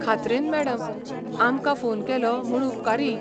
खात्रेन, madam. आमकां phone केलो म्हूण उपकारी.